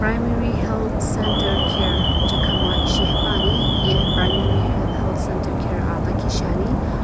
primary health centre care Jakhama hiye primary hr health centre care aa lakhi shiani.